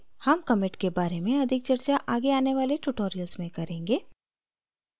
हम commit के बारे में अधिक चर्चा आगे आने वाले tutorials में करेंगे